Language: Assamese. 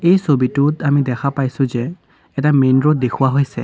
এই ছবিটোত আমি দেখা পাইছোঁ যে এটা মেইন ৰোড দেখুওৱা হৈছে।